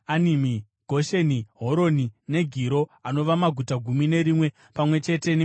Gosheni, Horoni, neGiro anova maguta gumi nerimwe pamwe chete nemisha yawo.